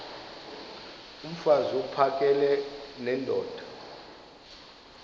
mfaz uphakele nendoda